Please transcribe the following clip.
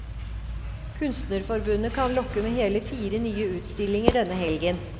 Kunstnerforbundet kan lokke med hele fire nye utstillinger denne helgen.